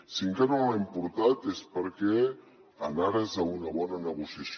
si encara no l’hi hem portat és perquè en ares d’una bona negociació